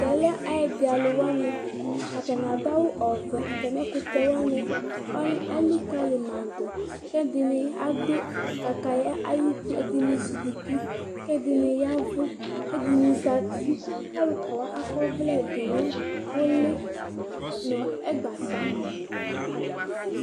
Tɛ lɛ ɛyɛdɩalʊ wanɩ Atanɩ adʊ awʊ ɔvɛ Atamɩ ɛkʊtɛ wanɩ elɩkalɩ madʊ Kɛdɩnɩ adʊ kataya ayʊtɩ kɛdɩnɩ ezɩ kʊtɩ kɛdɩnɩ yavʊ kɛdɩnɩ zatɩ Alʊkawa akɔvlɛ nʊlɩ nʊagbata